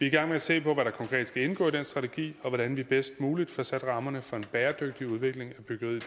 i gang med at se på hvad der konkret skal indgå i den strategi og hvordan vi bedst muligt får sat rammerne for en bæredygtig udvikling af byggeriet